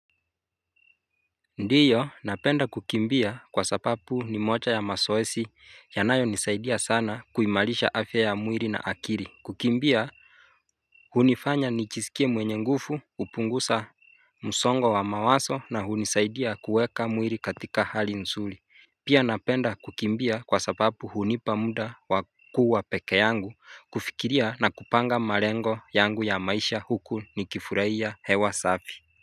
Ndiyo napenda kukimbia kwa sababu ni moja ya mazoezi yanayonisaidia sana kuimarisha afya ya mwili na akili, kukimbia hunifanya nijisikie mwenye nguvu, hupunguza msongo wa mawazo na hunisaidia kuweka mwili katika hali nzuri. Pia napenda kukimbia kwa sababu hunipa muda wa kuwa peke yangu kufikiria na kupanga malengo yangu ya maisha huku nikifurahia hewa safi.